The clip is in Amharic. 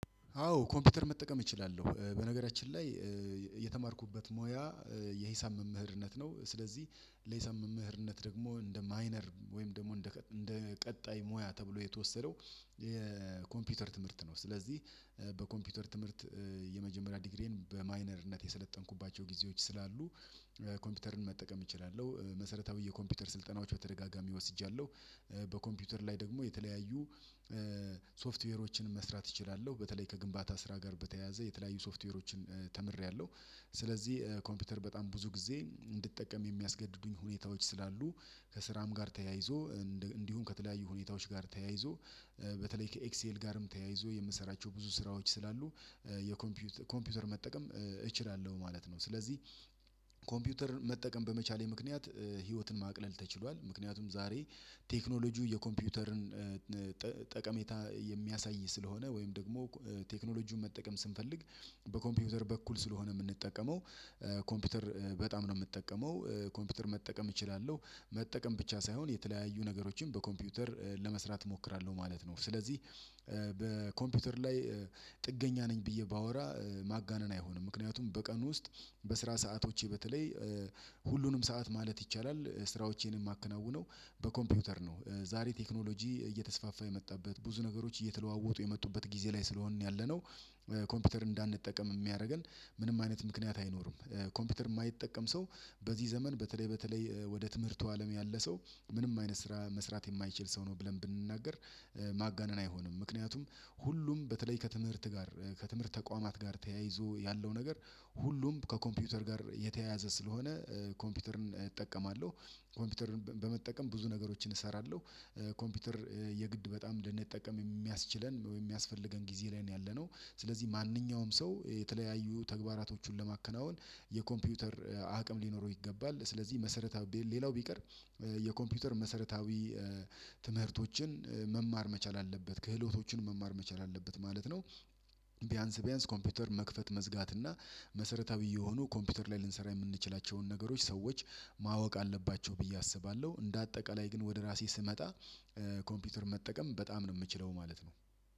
አዎ ኮምፒውተር መጠቀም እችላለሁ በነገራችን ላይ የተማርኩበት ሙያ የሂሳብ መምህርነት ነው። ስለዚህ ለሂሳብ መምህርነት ደግሞ እንደ ማይነር ወይም ደግሞ እንደ ቀጣይ ሙያ ተብሎ የተወሰደው የኮምፒውተር ትምህርት ነው ስለዚህ በኮምፒውተር ትምህርት የመጀመሪያ ዲግሪዬን በማይነርነት የሰለጠንኩባቸው ጊዜዎች ስላሉ ኮምፒውተርን መጠቀም እችላለሁ መሰረታዊ የኮምፒውተር ስልጠናዎች በተደጋጋሚ ወስጃለሁ በኮምፒውተር ላይ ደግሞ የተለያዩ ሶፍትዌሮችን መስራት እችላለሁ በተለይ ከግንባታ ስራ ጋር በተያያዘ የተለያዩ ሶፍትዌሮችን ተምሬያለሁ ስለዚህ ኮምፒውተር በጣም ብዙ ጊዜ እንድጠቀም የሚያስገድዱኝ ሁኔታዎች ስላሉ ከስራም ጋር ተያይዞ እንዲሁም ከተለያዩ ሁኔታዎች ጋር ተያይዞ በተለይ ከኤክሴል ጋርም ተያይዞ የምሰራቸው ብዙ ስራዎች ስላሉ የኮምፒውተር ኮምፒውተር መጠቀም እችላለሁ ማለት ነው። ስለዚህ ኮምፒውተር መጠቀም በመቻሌ ምክንያት ህይወትን ማቅለል ተችሏል ምክንያቱም ዛሬ ቴክኖሎጂው የኮምፒውተርን ጠቀሜታ የሚያሳይ ስለሆነ ወይም ደግሞ ቴክኖሎጂውን መጠቀም ስንፈልግ በኮምፒውተር በኩል ስለሆነ የምንጠቀመው ኮምፒውተር በጣም ነው የምጠቀመው ኮምፒውተር መጠቀም እችላለሁ መጠቀም ብቻ ሳይሆን የተለያዩ ነገሮችን በኮምፒውተር ለመስራት እሞክራለሁ ማለት ነው። ስለዚህ በኮምፒውተር ላይ ጥገኛ ነኝ ብዬ ባወራ ማጋነን አይሆንም ምክንያቱም በቀን ውስጥ በስራ ሰአቶቼ በተለይ ሰዓት ማለት ይቻላል ስራዎቼንም አከናውነው በኮምፒውተር ነው ዛሬ ቴክኖሎጂ እየተስፋፋ የመጣበት ብዙ ነገሮች እየተለዋወጡ የመጡበት ጊዜ ላይ ስለሆንን ያለነው ኮምፒውተር እንዳንጠቀም የሚያደርገን ምንም አይነት ምክንያት አይኖርም ኮምፒውተር የማይጠቀም ሰው በዚህ ዘመን በተለይ ወደ ትምህርቱ አለም ያለ ሰው ምንም አይነት ስራ መስራት የማይችል ሰው ነው ብለን ብንናገር ማጋነን አይሆንም ምክንያቱም ሁሉም በተለይ ከትምህርት ጋር ከትምህርት ተቋማት ጋር ተያይዞ ያለው ነገር ሁሉም ከኮምፒውተር ጋር የተያያዘ ስለሆነ ኮምፒውተርን እጠቀማለሁ ኮምፒውተርን በመጠቀም ብዙ ነገሮችን እሰራለሁ ኮምፒውተር የግድ በጣም ልንጠቀም የሚያስችለን ወይም የሚያስፈልገን ጊዜ ላይ ነው። ያለነው ስለዚህ ማንኛውም ሰው የተለያዩ ተግባራቶቹን ለማከናወን የኮምፒውተር አቅም ሊኖረው ይገባል ስለዚህ መሰረታዊ ሌላው ቢቀር የኮምፒውተር መሰረታዊ ትምህርቶችን መማር መቻል አለበት ክህሎቶችን መማር መቻል አለበት ማለት ነው። ቢያንስ ቢያንስ ኮምፒውተር መክፈት መዝጋት እና መሰረተ ብዬ ሆኖ ኮምፒውተር ላይ ልንሰራ የምንችላቸውን ነገሮች ሰዎች ማወቅ አለባቸው ብዬ አስባለሁ እንደ አጠቃላይ ግን ወደ ራሴ ስመጣ ኮምፒውተር መጠቀም በጣም ነው የምችለው ማለት ነው።